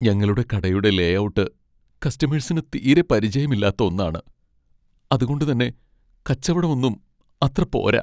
ഞങ്ങളുടെ കടയുടെ ലേഔട്ട് കസ്റ്റമേഴ്സിന് തീരെ പരിചയം ഇല്ലാത്ത ഒന്നാണ്, അതുകൊണ്ട് തന്നെ കച്ചവടം ഒന്നും അത്ര പോര.